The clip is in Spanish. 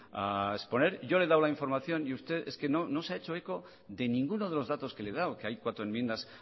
a exponer yo le he dado la información y usted es que no se ha hecho eco de ninguno de los datos que le he dado que hay cuatro enmiendas